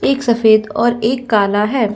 एक सफ़ेद और एक काला है।